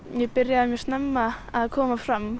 ég byrjaði mjög snemma að koma fram